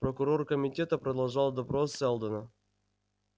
прокурор комитета продолжал допрос сэлдона